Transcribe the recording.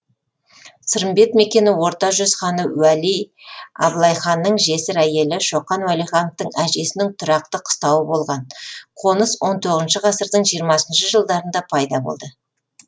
сырымбет мекені орта жүз ханы уәли абылайханның жесір әйелі шоқан уәлихановтың әжесінің тұрақты қыстауы болған қоныс он тоғызыншы ғасырдың жиырмасыншы жылдарында пайда болды